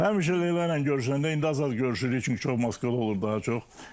Həmişə Leyla ilə görüşəndə, indi az görüşürük, çünki çox Moskvada olur daha çox.